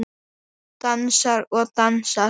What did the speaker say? Dansar og dansar.